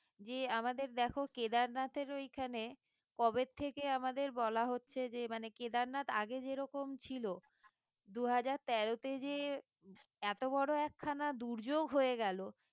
জি আমাদের দেখো কেদারনাথের ঐখানে কবের থেকে আমাদের বলা হচ্ছে যে মানে কেদারনাথ আগে যেরকম ছিল দু হাজার তেরোতে যে এত বড়ো একখানা দুর্যোক হয়ে গেলো